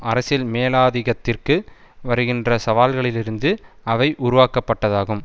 அரசியல் மேலாதிகத்திற்கு வருகின்ற சவால்களிலிருந்து அவை உருவாக்கப்பட்டதாகும்